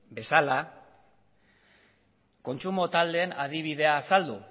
bezala kontsumo taldeen adibidea azaldu